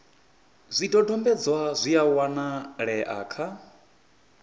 zwidodombedzwa zwi a wanalea kha